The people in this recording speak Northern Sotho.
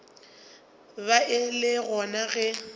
ba e le gona ge